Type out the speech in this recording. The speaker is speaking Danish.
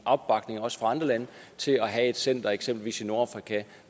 opbakning også fra andre lande til at have et center eksempelvis i nordafrika